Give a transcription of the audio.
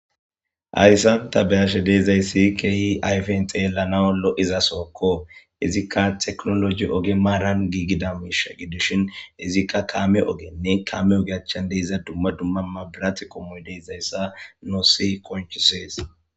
Hayssan tani be'ashe dizay issi qeeri ayifen xeelanawu lo'iza sohoko izika tekinoloje ohe maran gigggida oge giddishin ayfen xeelanawu lo'iza soho izika tecinoloje oge marani gigida oge giddishin izika kame ogene kame oge achan diza dumma dumma mabirate qommo diza issa nusi qonccises.